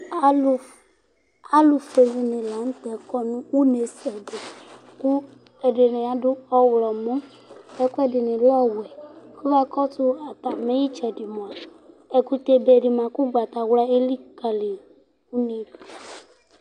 Alʋfʋe dìní la ntɛ kɔ nʋ ʋne sɛ di kʋ ɛdiní adu ɔwlɔmɔ kʋ ɛfʋɛdini lɛ ɔwɛ Kʋ akɔsu atami itsɛdi mʋa, ɛkutɛ be di ma kʋ ugbatawla elikali yi du